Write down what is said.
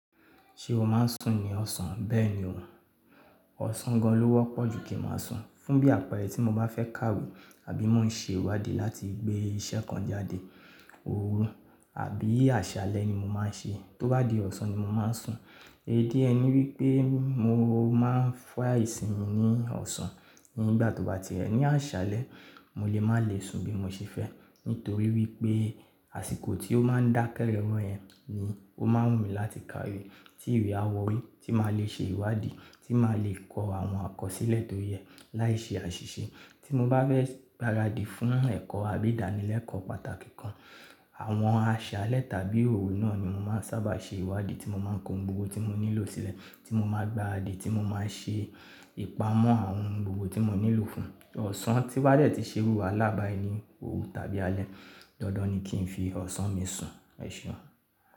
Ṣé o máa ń sùn ní ọ̀sán? Bẹ́ẹ̀ ni ò. Ọ̀sán gan lọ wọ́pọ̀ ju kí n máa sùn. Fún bí àpẹẹrẹ tí mo bá fẹ́ kàwé àbí mo ń ṣe ìwádìí láti gbé iṣẹ́ kan jáde, òru àbí àṣálẹ́ ni mo máa n ṣe. Tó bá di ọ̀sán ni mo máa ń sùn. Èdí ẹ ni wípé mo máa ń fọ́ àìsinmi ní ọ̀sán ni gbà tó bá ti rẹ ní àṣálẹ́, mo lè má lè sùn bí mo ṣe fẹ́. Nítorí wípé àsìkò tí ó máa ń dákẹ́ rẹ́wọ̀n yẹn ni ó máa n wù mí láti kàwé. Tí ìwẹ̀ á wọ́rí, tí màá lè ṣe ìwádìí, tí màá lè kọ àwọn àkọsílẹ̀ tó yẹ láìṣe àṣìṣe. Tí mo bá fẹ́ gbáradi fún ẹ̀kọ́ àbí ìdánilẹ́kọ̀ọ́ pàtàkì kan, àwọn àṣálẹ́ tàbí òru náà ni mo máa ń sábà ṣe ìwádìí tí mo máa ń kó ohun gbogbo tí mo nílò sílẹ̀, tí mo máa gbáradi, tí mo máa ṣe ìpamọ́ àwọn ohun gbogbo tí mo nílò fún. Ọ̀sán tí n bádẹ̀ ti ṣe irù wàhalá báyi ni, òru tàbí alẹ́, dandan ni kí n fi ọ̀sán mi sùn. Ẹ̀ṣeun.